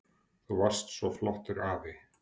Þú varst svo flottur afi.